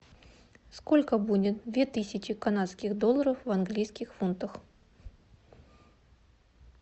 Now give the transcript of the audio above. сколько будет две тысячи канадских долларов в английских фунтах